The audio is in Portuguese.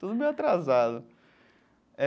Tudo meio atrasado. É.